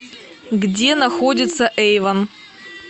где находится эйвон